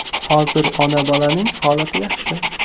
Hozir ona-bolaning holati yaxshi.